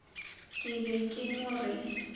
ke be ke no re